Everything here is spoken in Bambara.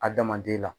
Adamaden la